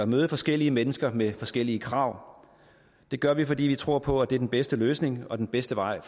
møde forskellige mennesker med forskellige krav det gør vi fordi vi tror på at det er den bedste løsning og den bedste vej